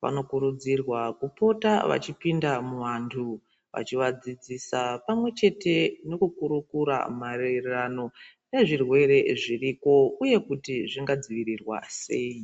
vanokurudzirwa kupota vachipinda muvantu vachivadzidzisa pamwechete nekukurukura maererano nezvirwere zviriko uye kuti zvingadzivirirwa sei